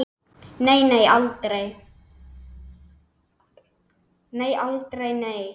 Nei, aldrei, nei!